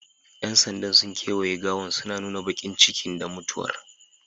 Yan sandan sun kawaye gawan suna nuna bakincikin da mutuwar